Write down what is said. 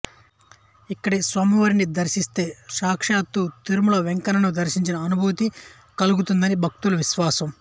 ఇక్కడి స్వామివారిని దర్శిస్తే సాక్షాత్తు తిరుమల వేంకన్నను దర్శించిన అనుభూతి కలుగుతుందని భక్తుల విశ్వాసం